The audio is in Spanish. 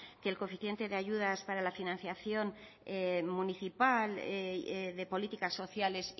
que el coeficiente de ayudas para la financiación municipal de políticas sociales